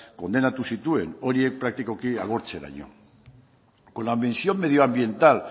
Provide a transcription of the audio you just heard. kondenatu zituen horiek praktikoki agortzeraino con la misión medioambiental